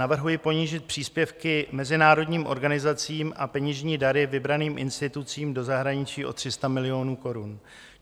Navrhuji ponížit příspěvky mezinárodním organizacím a peněžní dary vybraným institucím do zahraničí o 300 milionů korun.